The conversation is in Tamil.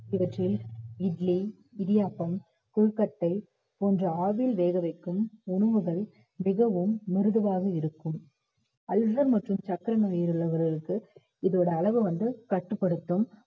இவற்றில் இட்லி, இடியாப்பம், கொழுக்கட்டை போன்ற ஆவியில் வேக வைக்கும் உணவுகள் மிகவும் மிருதுவாக இருக்கும் ulcer மற்றும் சர்க்கரை நோய் உள்ளவர்களுக்கு இதோட அளவை வந்து கட்டுப்படுத்தும்